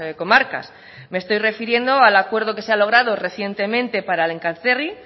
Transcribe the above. comarcas me estoy refiriendo al acuerdo que se ha logrado recientemente para el enkarterri